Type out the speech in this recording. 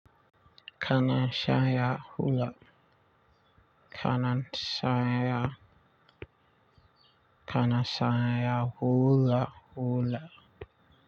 Kana shaya hula. Kana shaya, kana shaya hula hula.